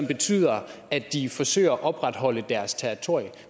betyder at de forsøger at opretholde deres territorium